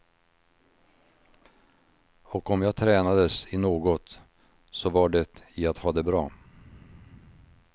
Och om jag tränades i något så var det i att ha det bra.